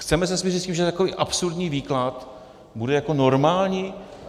Chceme se smířit s tím, že takový absurdní výklad bude jako normální?